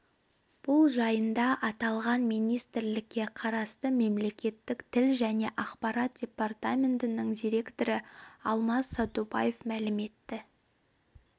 бұл жайында аталған министрлікке қарасты мемлекеттік тіл және ақпарат департаментінің директоры алмас садубаев мәлім етті